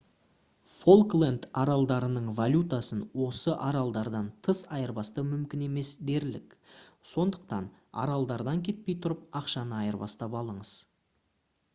фолкленд аралдарының валютасын осы аралдардан тыс айырбастау мүмкін емес дерлік сондықтан аралдардан кетпей тұрып ақшаны айырбастап алыңыз